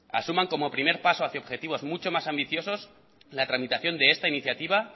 asuman como primer paso hacia objetivos mucho más ambiciosos la tramitación de esta iniciativa